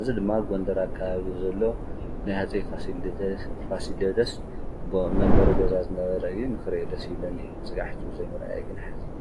እዚ ድማ ኣብ ጎንደር ኣከባቢ ዘሎ ናይ ሃፀይ ፋሲለደስ መንበሪ ገዛ ዝነበረ እዩ። ንኽሪኦ ደስ ይብለኒ እዩ። ክሳዕ ሕዚ ብዘይ ምርኣየይ ይሓዝን።